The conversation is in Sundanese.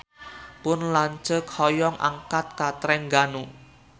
Pun lanceuk hoyong angkat ka Trengganu